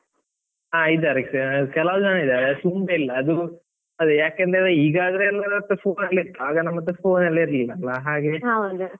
ಹಾ ಇದ್ದಾರೆ ,ಕೆಲವ್ ಜನ ಇದ್ದಾರೆ ತುಂಬ ಇಲ್ಲ ಅದು ಅದ್ ಯಾಕಂದ್ರೆ ಈಗ ಆದ್ರೆ ಎಲ್ಲರ್ ಹತ್ರ phone ಇತ್ತು, ಆಗ ನಮ್ಮತ್ರ phone ಎಲ್ಲ ಇರ್ಲಿಲ್ಲ ಅಲಾ .